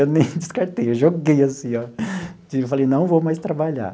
Eu nem descartei, eu joguei assim, ó. Falei, não vou mais trabalhar.